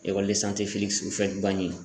Ekɔli de sanye felikisi ufuwɛti buwaɲen